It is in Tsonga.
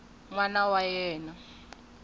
n wana wa yena wa